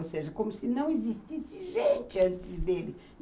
Ou seja, como se não existisse gente antes dele.